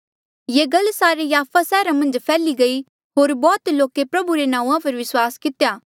ये गल सारे याफा सैहरा मन्झ फैल्ही गयी होर बौह्त लोके प्रभु रे नांऊँआं पर विस्वास कितेया